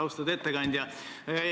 Austatud ettekandja!